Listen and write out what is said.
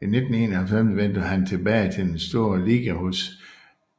I 1991 vendte han tilbage til den store liga hos